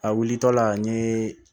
A wulitɔla n ye